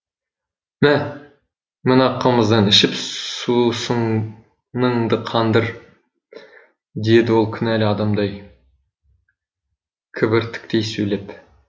мә мына қымыздан ішіп сусыныңды қандыр деді ол кінәлі адамдай кібіртіктей сөйлеп